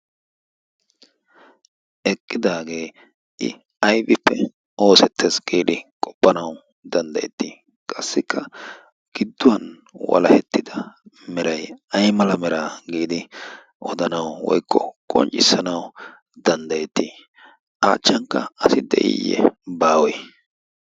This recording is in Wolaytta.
Eqqidaagee I aybbeppe oosettees giidi qopanaw danddaayetti? qassikka gidduwan walahettida meray aymera giidi odanaw woy qopanaw danddayeeti? a achchankka asi de'iyee woy baawe?